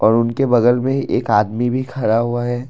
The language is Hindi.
और उनके बगल में ही एक आदमी भी खड़ा हुआ है।